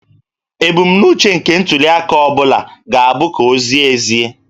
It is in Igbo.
Ebumnuche nke ntuliaka ọ bụla ga-abụ ka ọ zie ezie